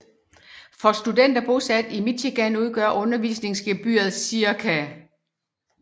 For studenter bosat i Michigan udgør undervisningsgebyret ca